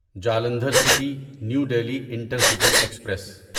Jalandhar city new Delhi intercity express